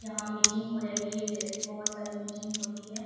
यहाँ मीटिंग हो रही है जै बहुत सारी मीटिंग होती है।